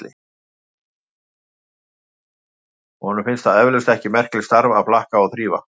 Honum finnst það eflaust ekki merkilegt starf að flaka og þrífa.